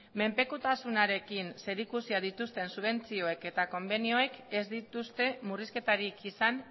menpekotasunarekin zerikusia dituzten subentzioek eta konbenioek ez dituzte murrizketarik izan